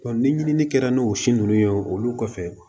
ni ɲinini kɛra n'o si ninnu ye olu kɔfɛ